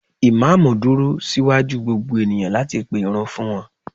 imamu dúró sí waju gbogbo eniyan lati pe Irun fún wan